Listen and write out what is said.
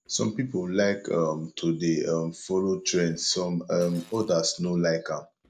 some pipo like um to de um follow trends some um others no like am